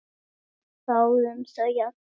Við þáðum þau allir.